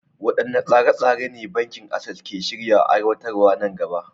Waɗanne tsare-tsare ne Bankin Access ke shirin aiwatarwa nan gaba?